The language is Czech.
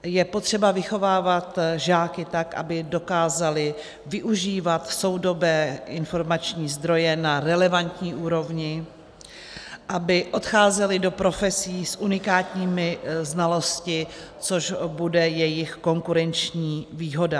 Je potřeba vychovávat žáky tak, aby dokázali využívat soudobé informační zdroje na relevantní úrovni, aby odcházeli do profesí s unikátními znalostmi, což bude jejich konkurenční výhoda.